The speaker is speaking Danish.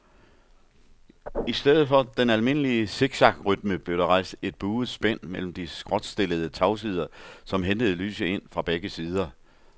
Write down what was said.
I stedet for den almindelige siksakrytme blev der rejst et buet spænd mellem de skråtstillede tagsider, som hentede lyset ind fra begge sider.